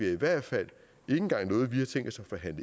i hvert fald